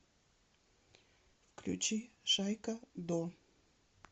включи шайка до